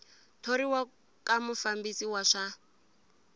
thoriwa ka mufambisi wa swa